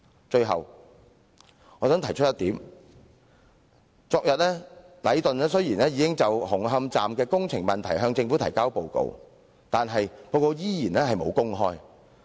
最後我想提出一點，禮頓雖然已在昨天就紅磡站工程問題向政府提交報告，但報告卻未有公開。